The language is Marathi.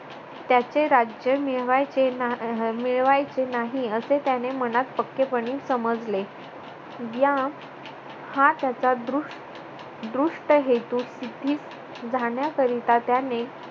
त्याचे राज्य मिळवायचे ना आह मिळवायचे नाही असे त्याने मनात पक्केपणे समजले. या हा त्याचा दृष्ट दृष्ट हेतू तिथेच जाण्याकरिता त्याने